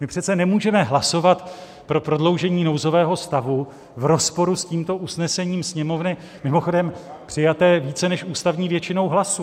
My přece nemůžeme hlasovat pro prodloužení nouzového stavu v rozporu s tímto usnesením Sněmovny, mimochodem přijatém více než ústavní většinou hlasů.